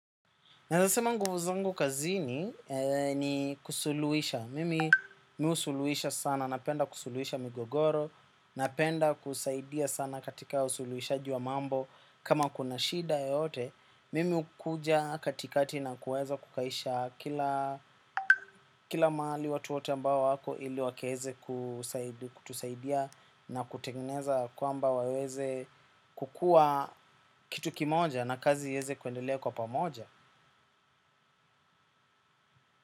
Naweza sema nguvu zangu kazini ni kusuluhisha. Mimi husuluhisha sana. Napenda kusuluhisha migogoro. Napenda kusaidia sana katika usuluhishaji wa mambo. Kama kuna shida yeyote, mimi hukuja katikati na kuweza kukaisha kila kila mahali watu wote ambao wako ili wakaweze kutusaidia na kutengeneza kwamba waweze kukuwa kitu kimoja na kazi iweze kuendelea kwa pamoja.